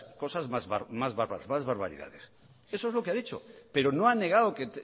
más barbaridades eso es lo que ha dicho pero no ha negado que